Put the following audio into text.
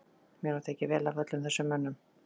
Mér var tekið vel af öllum þessum mönnum.